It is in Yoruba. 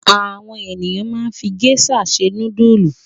Àwọn ènìyàn máa ń fi géíṣà se núdúlù.